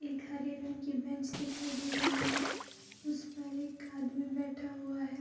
एक हरे रंग की बेंच दिखाई दे रही है उस पर एक आदमी बैठा हुआ है।